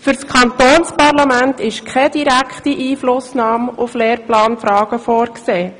Für das Kantonsparlament ist keine direkte Einflussnahme auf Lehrplanfragen vorgesehen.